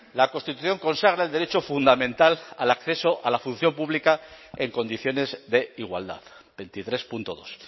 la constitución consagra el derecho fundamental al acceso a la función pública en condiciones de igualdad veintitres punto dos